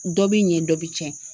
Dɔ bi ɲɛ dɔ bi cɛn.